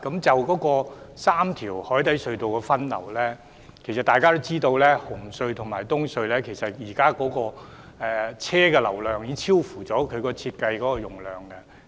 就3條海底隧道的分流，眾所周知，紅隧和東隧現時的汽車流量已超出設計容量。